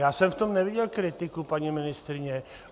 Já jsem v tom neviděl kritiku paní ministryně.